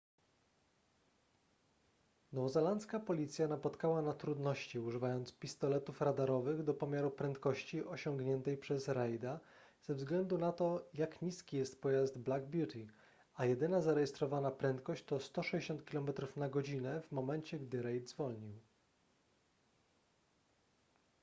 nowozelandzka policja napotkała na trudności używając pistoletów radarowych do pomiaru prędkości osiągniętej przez reida ze względu na to jak niski jest pojazd black beauty a jedyna zarejestrowana prędkość to 160 km/h w momencie gdy reid zwolnił